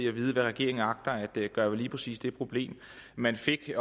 at vide hvad regeringen agter at gøre ved lige præcis det problem man fik